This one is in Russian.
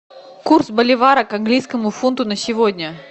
курс боливара к английскому фунту на сегодня